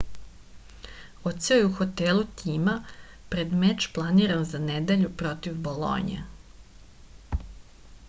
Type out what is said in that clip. odseo je u hotelu tima pred meč planiran za nedelju protiv bolonje